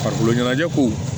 Farikolo ɲɛnajɛ ko